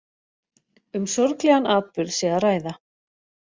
Um sorglegan atburð sé að ræða